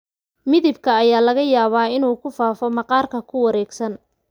Midabka ayaa laga yaabaa inuu ku faafo maqaarka ku wareegsan.